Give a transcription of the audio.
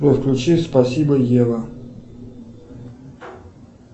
джой включи спасибо ева